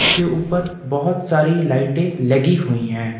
इसके ऊपर बहोत सारी लाइटें लगी हुई हैं।